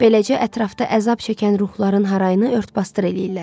Beləcə ətrafda əzab çəkən ruhların harayını ört-basdır eləyirlər.